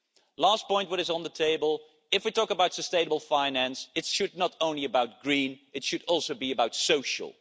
The last point that is on the table if we talk about sustainable finance, it should not only be green, it should also be social.